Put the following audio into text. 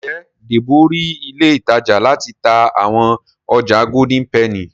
Njé Debo rí ilé ìtajà láti tá àwọn ọjà Golden penny?